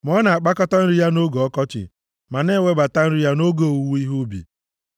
ma ọ na-akpakọta nri ya nʼoge ọkọchị ma na-ewebata nri ya nʼoge owuwe ihe ubi.